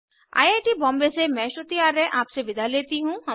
I I T Bombay से मैं श्रुति आर्य आपसे विदा लेती हूँ